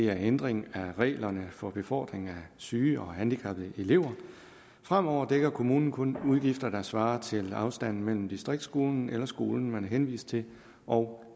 er ændring af reglerne for befordring af syge og handicappede elever fremover dækker kommunen kun udgifter der svarer til afstanden mellem distriktsskolen eller skolen man er henvist til og